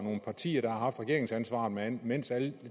parti der har haft regeringsansvaret mens alle